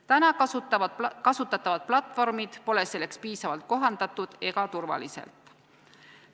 Praegu kasutatavad platvormid pole selleks piisavalt kohandatud ega turvalised.